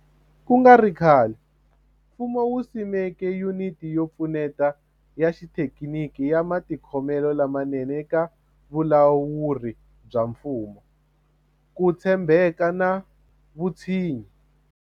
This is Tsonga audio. Ku nga ri khale, mfumo wu simeke Yuniti yo Pfuneta ya Xithekiniki ya Matikhomelo lamanene eka Vulawuri bya Mfumo, Ku tshembeka na Vutshinyi.